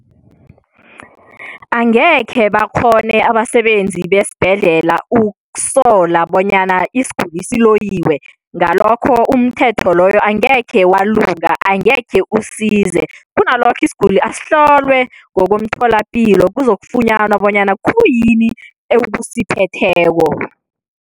Angekhe bakghone abasebenzi besibhedlela ukusola bonyana isiguli siloyiwe, ngalokho umthetho loyo angekhe walunga, angekhe usize. Kunalokho, isiguli asihlolwe ngokomtholampilo kuzokufunyanwa bonyana khuyini ekusiphetheko.